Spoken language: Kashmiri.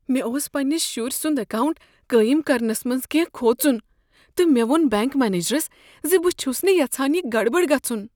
مےٚ اوس پنٛنس شرۍ سنٛد اکاونٛٹ قٲیم کرنس منٛز کٮ۪نٛہہ کھوژن تہٕ مےٚ ووٚن بینک منیجرس ز بہٕ چھس نہٕ یژھان یہ گڑبڑ گژھن۔